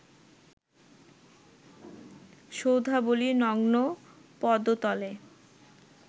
সৌধাবলি নগ্ন পদতলে